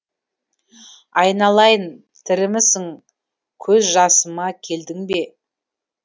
айналайын тірімісің көз жасыма келдің бе